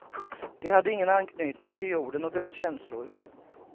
De hade ingen anknytning till jorden och dess känslor.